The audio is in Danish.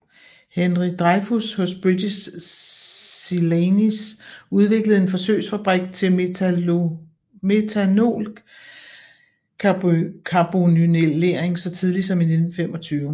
Henry Drefyus hos British Celanese udviklede en forsøgsfabrik til methanolcarbonylering så tidligt som i 1925